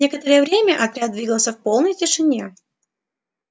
некоторое время отряд двигался в полной тишине